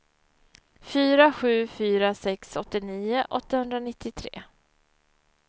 fyra sju fyra sex åttionio åttahundranittiotre